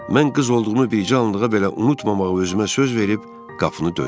Mən qız olduğumu bircə anlığa belə unutmamağa özümə söz verib qapını döydüm.